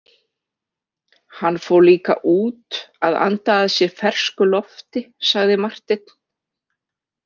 Hann fór líka út að anda að sér fersku lofti, sagði Marteinn.